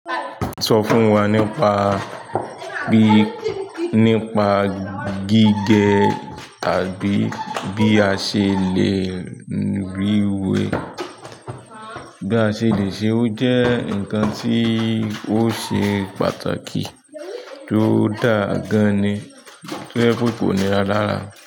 Sọ fún wa nípa bí nípa gígẹ àbí bí a ṣe le rí wé, bí a ṣe le ṣe ó jẹ́ nǹkan tí ó ṣe pàtàkì tó dà gan-an ni tí o jepe ko nira lára.